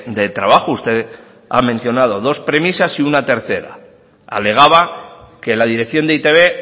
de trabajo usted ha mencionado dos premisas y una tercera alegaba que la dirección de e i te be